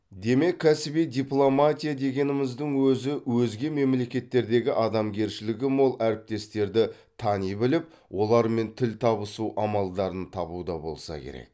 демек кәсіби дипломатия дегеніміздің өзі өзге мемлекеттердегі адамгершілігі мол әріптестерді тани біліп олармен тіл табысу амалдарын табуда болса керек